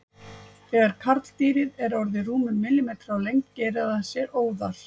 Þegar karldýrið er orðið rúmur millimetri á lengd gerir það sér óðal.